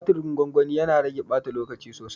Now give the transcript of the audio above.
Tumatirin gwangwani, yana rage ɓata lokaci sosai.